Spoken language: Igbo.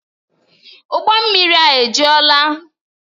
Ụgbọ mmiri a ejuola?